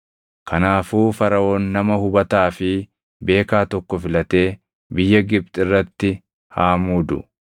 “Kanaafuu Faraʼoon nama hubataa fi beekaa tokko filatee biyya Gibxi irratti haa muudu.